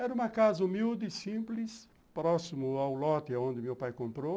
Era uma casa humilde e simples, próximo ao lote onde meu pai comprou.